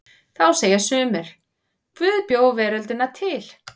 Þá segja sumir: Guð bjó veröldina til.